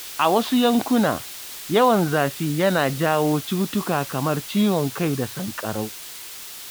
A wasu yankuna, yawan zafi yana jawo cutuka kamar ciwon kai da sanƙarau.